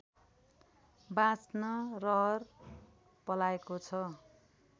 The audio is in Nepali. बाँच्न रहर पलाएको छ